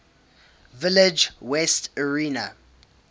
village west area